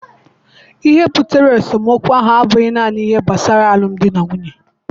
Ihe butere esemokwu ahụ abụghị naanị ihe gbasara alụmdi na nwunye